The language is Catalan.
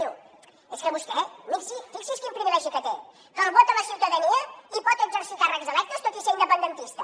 diu és que vostè fixi’s quin privilegi que té que el vota la ciutadania i pot exercir càrrecs electes tot i ser independentista